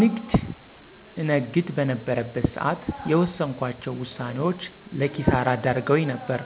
ንግድ እነግድ በነበረበት ስዓት የወስንኳቸው ውሳኔዎች ለኪሳራ ዳርገውኝ ነበር።